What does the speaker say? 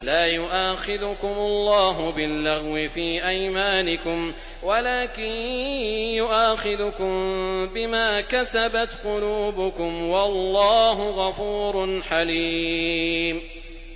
لَّا يُؤَاخِذُكُمُ اللَّهُ بِاللَّغْوِ فِي أَيْمَانِكُمْ وَلَٰكِن يُؤَاخِذُكُم بِمَا كَسَبَتْ قُلُوبُكُمْ ۗ وَاللَّهُ غَفُورٌ حَلِيمٌ